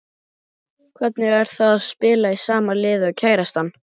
Hvernig er það að spila í sama liði og kærastan?